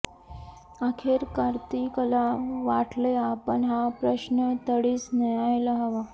अखेर कार्तिकला वाटले आपण हा प्रश्न तडीस न्यायला हवा